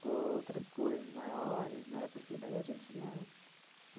com outras coisas maiores, né, porque daí a gente, né?